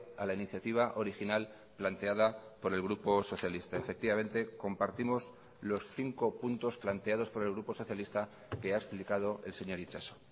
a la iniciativa original planteada por el grupo socialista efectivamente compartimos los cinco puntos planteados por el grupo socialista que ha explicado el señor itxaso